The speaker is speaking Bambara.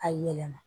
A yɛlɛma